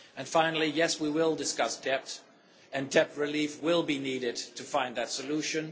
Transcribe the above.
Finally, yes, we will discuss debt, and debt relief will be needed to find that solution.